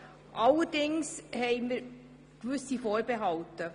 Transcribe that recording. Allerdings haben wir gewisse Vorbehalte.